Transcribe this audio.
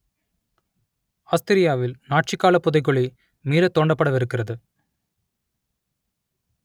ஆஸ்திரியாவில் Nazi கால புதைகுழி மீளத் தோண்டப்படவிருக்கிறது